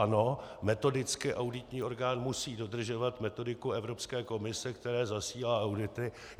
Ano, metodicky auditní orgán musí dodržovat metodiku Evropské komise, které zasílá audity.